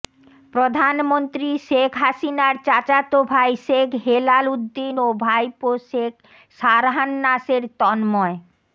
প্রধানমন্ত্রী শেখ হাসিনার চাচাতো ভাই শেখ হেলাল উদ্দীন ও ভাইপো শেখ সারহান নাসের তন্ময়